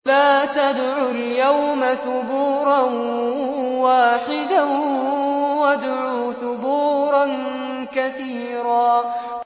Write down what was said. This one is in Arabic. لَّا تَدْعُوا الْيَوْمَ ثُبُورًا وَاحِدًا وَادْعُوا ثُبُورًا كَثِيرًا